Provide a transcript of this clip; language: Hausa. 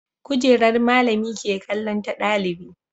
Kujerar malami ke kallon ta ɗalibi